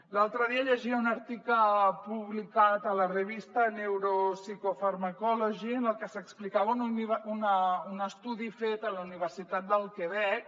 l’altre dia llegia un article publicat a la revista neuropsychopharmacology en el que s’explicava en un estudi fet a la universitat del quebec